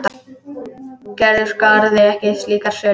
Gerður skráði ekki slíkar sölur.